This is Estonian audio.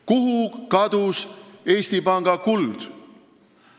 Kuhu kadus Eesti Panga kuld?